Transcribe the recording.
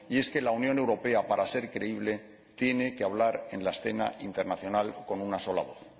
que la Unión Europea, para ser creíble, tiene que hablar en la escena internacional con una sola voz.